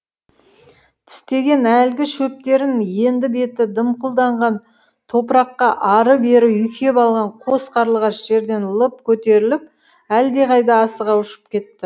тістеген әлгі шөптерін енді беті дымқылданған топыраққа ары бері үйкеп алған қос қарлығаш жерден лып көтеріліп әлдеқайда асыға ұшып кетті